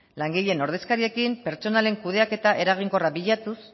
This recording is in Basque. langileen ordezkariekin pertsonalen kudeaketa eraginkorra bilatuz